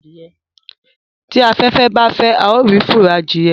tí aféfé bá fè ào rí furo Adìye